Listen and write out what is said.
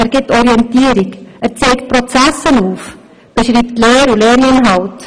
Er gibt Orientierung, zeigt Prozesse auf, beschreibt Lehr- und Lerninhalte.